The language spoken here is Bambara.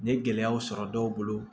N ye gɛlɛyaw sɔrɔ dɔw bolo